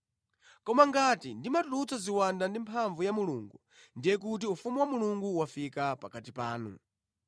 Koma ngati ndimatulutsa ziwanda ndi mphamvu ya Mulungu, ndiye kuti ufumu wa Mulungu wafika pakati panu.